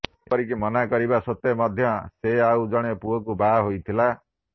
ଏପରିକି ମନା କରିବା ସତ୍ତ୍ୱେ ମଧ୍ୟ ସେ ଆଉ ଜଣେ ପୁଅକୁ ବାହା ହୋଇଥିଲା